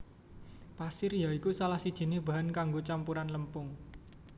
Pasir ya iku salah sijiné bahan kanggo campuran lempung